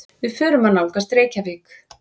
Við förum að nálgast Reykjavík.